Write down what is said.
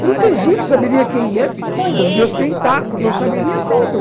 Protegido, eu saberia quem é, os meus tentáculos, eu saberia tudo.